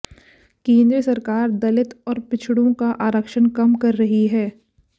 केंद्र सरकार दलित और पिछड़ों का आरक्षण कम कर रही है